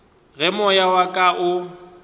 ge moya wa ka o